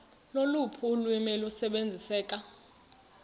loluphi ulwimi olusebenziseka